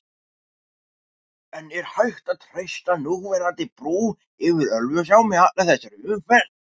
En er hægt að treysta núverandi brú yfir Ölfusá með allri þessari umferð?